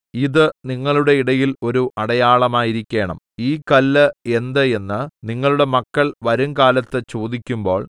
ഇത് നിങ്ങളുടെ ഇടയിൽ ഒരു അടയാളമായിരിക്കേണം ഈ കല്ല് എന്ത് എന്ന് നിങ്ങളുടെ മക്കൾ വരുംകാലത്ത് ചോദിക്കുമ്പോൾ